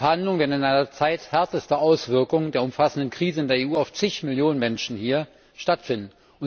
Die Verhandlungen werden in einer Zeit härtester Auswirkungen der umfassenden Krise in der EU auf zig Millionen Menschen hier stattfinden.